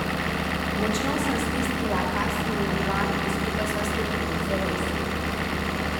Močno sem stisnila Kasijino dlan in skupaj sva stopili k zavesi.